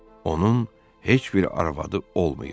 Onun heç bir arvadı olmayıb.